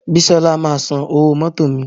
Bísola máa san owó mótò mi